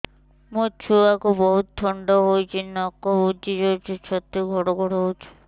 ମୋ ଛୁଆକୁ ବହୁତ ଥଣ୍ଡା ହେଇଚି ନାକ ବୁଜି ଯାଉଛି ଛାତି ଘଡ ଘଡ ହଉଚି